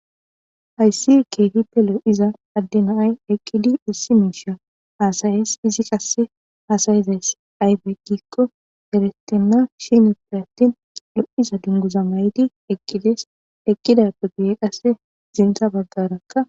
Hayssi keehipte lo'iza addina ay eqqidi issi miisha haasayes izi qasse haasayizays aybe giikko deretenna shinippe attin lo'iza dunguza mayti eqqides eqqidappugeye qasse zinta baggarakka